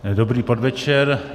Dobrý podvečer.